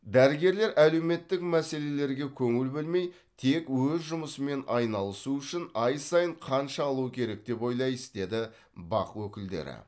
дәрігерлер әлеуметтік мәселелерге көңіл бөлмей тек өз жұмысымен айналысуы үшін ай сайын қанша алу керек деп ойлайсыз деді бақ өкілдері